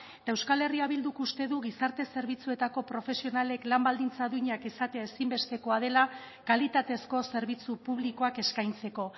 eta euskal herria bilduk uste du gizarte zerbitzuetako profesionalek lan baldintza duinak izatea ezinbestekoa dela kalitatezko zerbitzu publikoak eskaintzeko